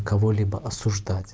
кого-либо осуждать